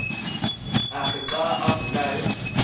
akhe xa avulayo